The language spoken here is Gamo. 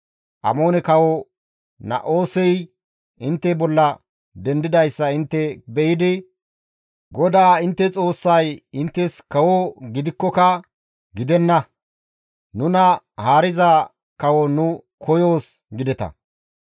«Amoone kawo Na7oosey intte bolla dendidayssa intte be7idi GODAA intte Xoossay inttes kawo gidikkoka, ‹Gidenna; nuna haariza kawo nu koyoos› gideta.